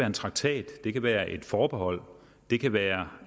en traktat det kan være om et forhold det kan være